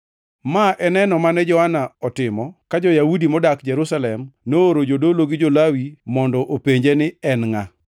Ma e neno mane Johana otimo ka jo-Yahudi modak Jerusalem nooro jodolo gi jo-Lawi mondo openje ni ne en ngʼa.